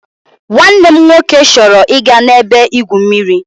Nwanne m nwoke chọrọ ịga n'ebe-igwụ mmiri.